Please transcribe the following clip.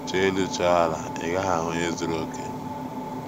Chọọ elu chọọ ala, ị gaghị ahụ onye zuru okè.